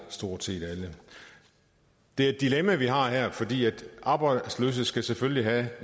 stort set alle det er et dilemma vi har her for de arbejdsløse skal selvfølgelig have